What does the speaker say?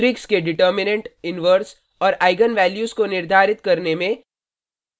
matrix के determinant determinant inverse और eigen values values को निर्धारित करने में